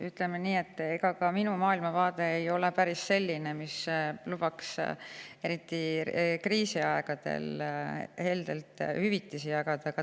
Ütleme nii, et ka minu maailmavaade ei ole päris selline, mis lubaks eriti kriisiaegadel heldelt hüvitisi jagada.